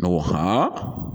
N ko